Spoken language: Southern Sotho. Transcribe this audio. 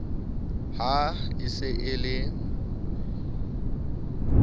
ha e se e le